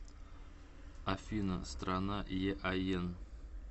афина страна еаен